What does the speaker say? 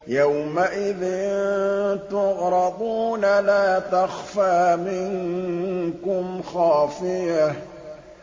يَوْمَئِذٍ تُعْرَضُونَ لَا تَخْفَىٰ مِنكُمْ خَافِيَةٌ